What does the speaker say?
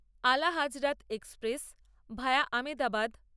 Ala Hazrat express via Ahmedabad